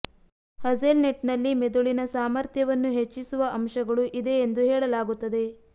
hazel nut ನಲ್ಲಿ ಮೆದುಳಿನ ಸಾಮರ್ಥ್ಯವನ್ನು ಹೆಚ್ಚಿಸುವ ಅಂಶಗಳು ಇದೆ ಎಂದು ಹೇಳಲಾಗುತ್ತದೆ